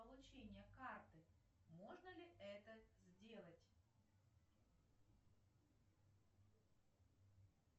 получение карты можно ли это сделать